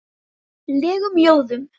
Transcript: legum ljóðum.